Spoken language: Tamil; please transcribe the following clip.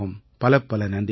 பலப்பல நன்றிகள்